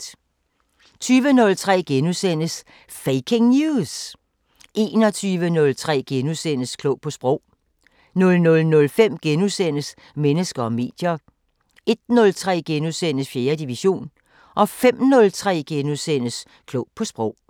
20:03: Faking News! * 21:03: Klog på Sprog * 00:05: Mennesker og medier * 01:03: 4. division * 05:03: Klog på Sprog *